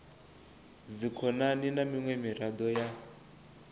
dzikhonani na miṅwe miraḓo ya